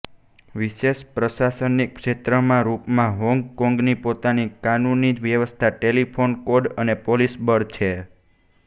વિશેષ પ્રશાસનિક ક્ષેત્રના રૂપમાં હોંગ કોંગની પોતાની કાનૂની વ્યવસ્થા ટેલીફોન કોડ અને પોલિસ બળ છે